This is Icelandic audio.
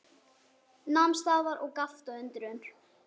Nam staðar og gapti af undrun.